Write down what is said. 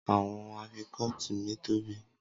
Awọn afikọti mi tobi